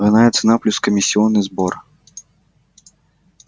двойная цена плюс комиссионный сбор